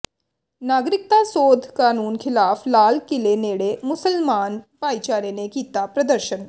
ਨਾਗਰਿਕਤਾ ਸੋਧ ਕਾਨੂੰਨ ਖ਼ਿਲਾਫ਼ ਲਾਲ ਕਿਲ੍ਹੇ ਨੇੜੇ ਮੁਸਲਮਾਨ ਭਾਈਚਾਰੇ ਨੇ ਕੀਤਾ ਪ੍ਰਦਰਸ਼ਨ